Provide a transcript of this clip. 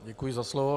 Děkuji za slovo.